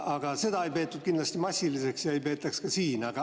Aga seda ei peetud seal kindlasti massiliseks ja ei peetaks ka siin.